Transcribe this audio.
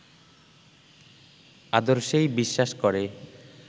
আদর্শেই বিশ্বাস করে